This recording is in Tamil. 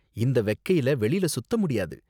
இந்த வெக்கைல வெளில சுத்த முடியாது.